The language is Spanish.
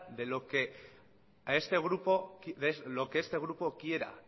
de lo que este grupo quiera